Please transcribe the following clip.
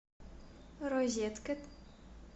розеткед